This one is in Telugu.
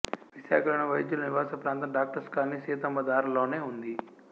విశాఖ లోని వైద్యుల నివాస ప్రాంతం డాక్టర్స్ కాలనీ సీతమ్మధార లోనే ఉంది